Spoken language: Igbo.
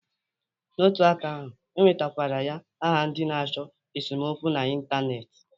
N'otu aka ahụ, e wetakwara ya aha ndị na-achọ esomokwu na Ịntaneetị